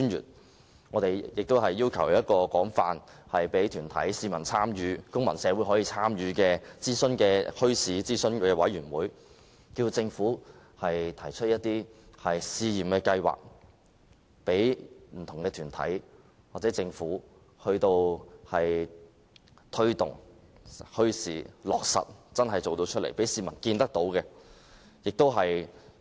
此外，我們亦要求政府設立一個可供團體、公民社會廣泛參與的墟市諮詢委員會，提出試驗計劃，讓不同團體推動墟市，政府真正落實政策，讓市民看得見。